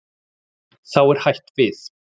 Þá er hætt við.